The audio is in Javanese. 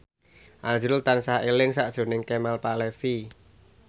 azrul tansah eling sakjroning Kemal Palevi